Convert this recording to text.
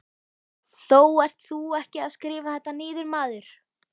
Þú ert þó ekki að skrifa þetta niður, maður!